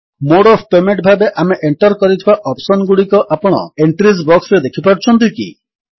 mode of payment ଭାବେ ଆମେ enter କରିଥିବା ଅପ୍ସନ୍ ଗୁଡ଼ିକ ଆପଣ ଏଣ୍ଟ୍ରିଜ୍ ବକ୍ସରେ ଦେଖିପାରୁଛନ୍ତି କି